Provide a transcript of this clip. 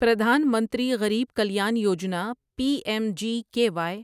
پردھان منتری غریب کلیان یوجنا P M G K Y